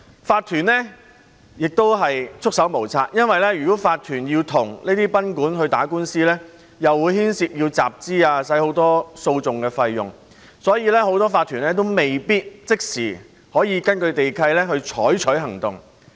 法團也束手無策，因為如果法團與這些賓館打官司，便會牽涉到集資，要花很多訴訟費用，所以很多法團未必可以即時根據地契採取行動。